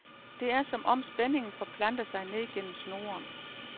Det er, som om spændingen forplanter sig ned gennem snoren.